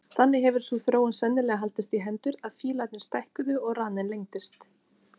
Þannig hefur sú þróun sennilega haldist í hendur að fílarnir stækkuðu og raninn lengdist.